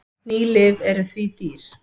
Ný lyf eru því dýr.